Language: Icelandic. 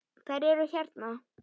Þær eru hérna